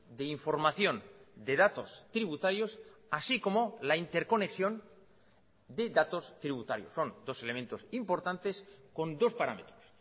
de información de datos tributarios así como la interconexión de datos tributarios son dos elementos importantes con dos parámetros